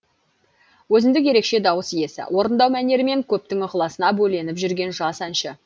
өзіндік ерекше дауыс иесі орындау мәнерімен көптің ықыласына бөленіп жүрген жас әнші